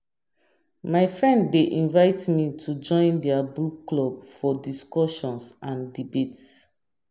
My friend dey invite me to join their book club for discussions and debates.